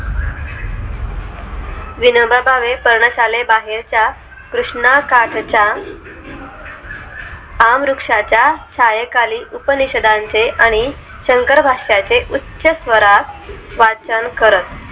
विनोबा भावे पर्ण शाले बाहेरच्या कृष्णाकाठच्या आम वृक्षच्या छायेखाली उपनिषदांचे आणि शंकर भाषा चे उच्च स्वरात वाचन करत